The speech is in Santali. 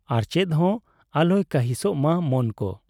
ᱟᱨ ᱪᱮᱫᱦᱚᱸ ᱟᱞᱚᱭ ᱠᱟᱹᱦᱤᱸᱥ ᱢᱟ ᱢᱚᱱᱠᱚ ᱾